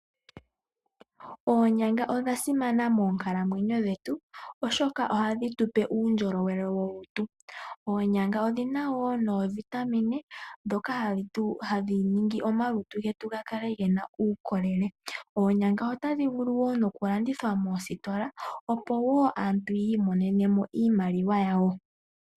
Oonyanga odha simana moonkalamwenyo dhetu oshoka ohadhi tupe uundjolowele molutu. Odhina woo oovitamine dhoka hadhi wathele omalutu getu gakale gena oonkondo nenge uukolele. Oonyanga ohadhi vulu woo okulandithwa moositola opo wuu aantu yi imonene iimaliwa yawo.